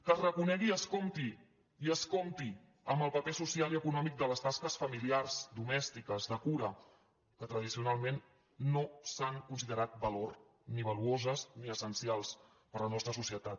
que es reconegui i es compti i es compti amb el pa·per social i econòmic de les tasques familiars domèsti·ques de cura que tradicionalment no s’han considerat valor ni valuoses ni essencials per a la nostra socie·tat